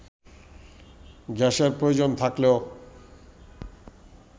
গ্যাসের প্রয়োজন থাকলেও